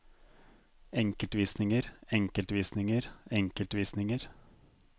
enkeltvisninger enkeltvisninger enkeltvisninger